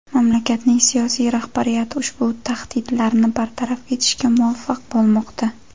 Mamlakatning siyosiy rahbariyati ushbu tahdidlarni bartaraf etishga muvaffaq bo‘lmoqda.